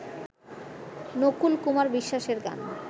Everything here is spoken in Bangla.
নকুল কুমার বিশ্বাসের গান